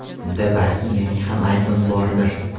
Bunda balki mening ham aybim bordir.